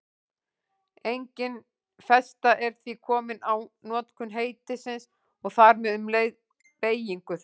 Engin festa er því komin á notkun heitisins og þar með um leið beygingu þess.